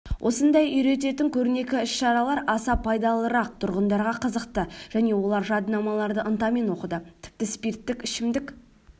осындай үйрететін көрнекі іс-шаралар аса пайдалырақ тұрғындарға қызықты және олар жадынамаларды ынтамен оқыды тіпті спирттік ішімдік